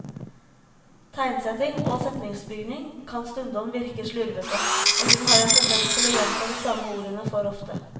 Tegnsetting og setningsbygning kan stundom virke slurvete, og hun har en tendens til å gjenta de samme ordene for ofte.